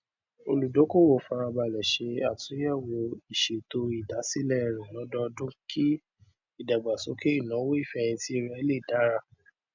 olùdókòwò fara balẹ ṣe àtúnyẹwò ìṣètò ìdásílẹ rẹ lódoodún kí ìdàgbàsókè ináwó ìfẹhìntì rẹ lè dára